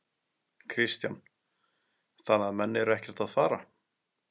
Kristján: Þannig að menn eru ekkert að fara?